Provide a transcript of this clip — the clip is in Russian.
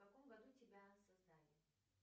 в каком году тебя создали